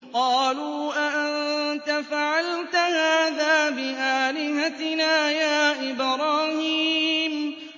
قَالُوا أَأَنتَ فَعَلْتَ هَٰذَا بِآلِهَتِنَا يَا إِبْرَاهِيمُ